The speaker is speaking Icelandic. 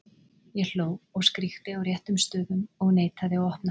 Ég hló og skríkti á réttum stöðum og neitaði að opna.